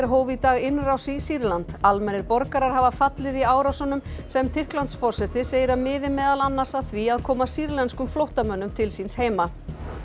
hóf í dag innrás í Sýrland almennir borgarar hafa fallið í árásunum sem Tyrklandsforseti segir að miði meðal annars að því að koma sýrlenskum flóttamönnum til síns heima